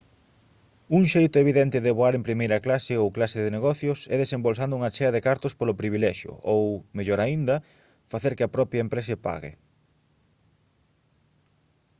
un xeito evidente de voar en primeira clase ou clase de negocios é desembolsando unha chea de cartos polo privilexio ou mellor aínda facer que a propia empresa pague